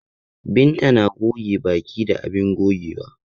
Binta na goge baki da abin gogewa.